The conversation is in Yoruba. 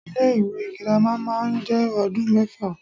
Ilé ìwé girama má a njé odún méfà